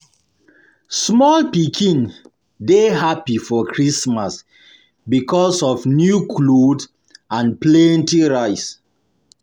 Small pikin dey happy for Christmas because of new cloth and plenty rice um